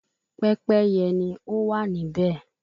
Pẹ́pẹ́yẹ ni ọ wá níbè